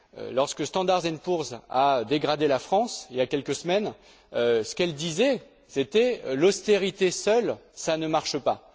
Lorsque Standard Poor's a dégradé la France, il y a quelques semaines, ce qu'elle disait, c'était L'austérité seule, ça ne marche pas.